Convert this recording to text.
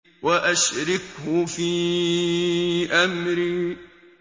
وَأَشْرِكْهُ فِي أَمْرِي